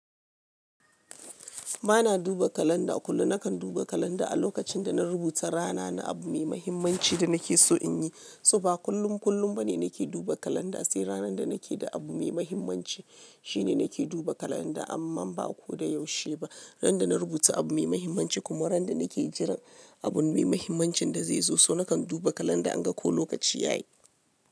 Ba na duba kalanda kullum. Nakan duba kalanda a lokacin da na rubuta rana na abu mai mahimmanci da nake so in yi. So ba kullun kullum bane nake duba kalanda. Sai ranar da nake da abu mai mahimmanci shine nake duba kalanda. Amma ba ko da yaushe ba. Ran da na rubuta abu mai mahimmanci kuma ran da nake jiran abun mai mahimmancin da zai zo. So nakan duba kalanda in ga ko lokaci yayi.